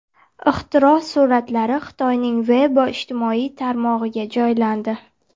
Ixtiro suratlari Xitoyning Weibo ijtimoiy tarmog‘iga joylandi.